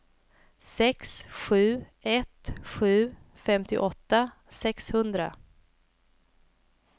sex sju ett sju femtioåtta sexhundra